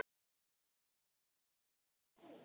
Mamma hafði fylgt